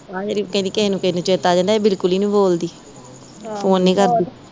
ਆ ਜਿਹੜੀ ਕਹਿੰਦੀ ਕਿਹ ਨੂੰ ਕਿਹ ਨੂੰ ਚੇਤਾ ਆ ਜਾਂਦਾ ਇਹ ਬਿਲਕੁੱਲ ਈ ਨੀ ਬੋਲਦੀ ਫੋਨ ਨੀ ਕਰਦੀ